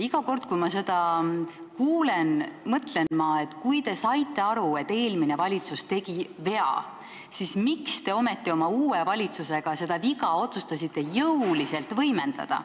Iga kord, kui ma seda kuulen, mõtlen ma, et kui te saite aru, et eelmine valitsus tegi vea, siis miks te ometi otsustasite oma valitsusega seda viga jõuliselt võimendada.